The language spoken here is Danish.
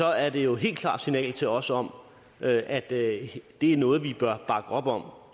er det jo et helt klart signal til os om at det er noget vi som bør bakke op om